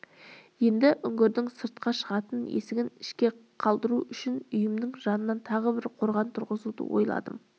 енді үңгірдің сыртқа шығатын есігін іште қалдыру үшін үйімнің жанынан тағы бір қорған тұрғызуды ойладым